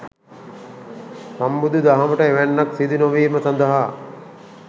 සම්බුදුදහමට එවැන්නක් සිදු නොවීම සඳහා